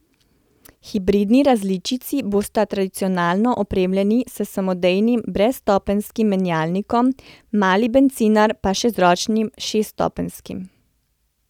Hibridni različici bosta tradicionalno opremljeni s samodejnim brezstopenjskim menjalnikom, mali bencinar pa z ročnim šeststopenjskim.